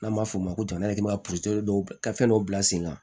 N'an b'a fɔ o ma ko dɔw ka fɛn dɔw bila sen kan